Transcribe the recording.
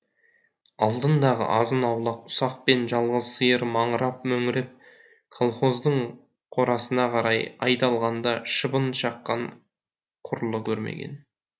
алдындағы азын аулақ ұсақ пен жалғыз сиыр маңырап мөңіреп колхоздың қорасына қарай айдалғанда шыбын шаққан құрлы көрмеген